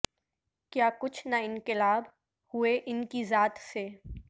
کیا کچھ نہ انقلاب ہوئے ان کی ذات سے